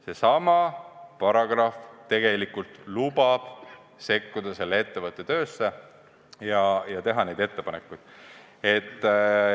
Seesama paragrahv tegelikult lubab sekkuda selle ettevõtte töösse ja teha ettepanekuid.